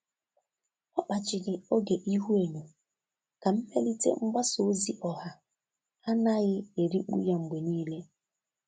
Ọ́ kpàchị̀rị̀ oge ihuenyo kà mmelite mgbasa ozi ọha ánàghị́ èríkpú ya mgbe nìile.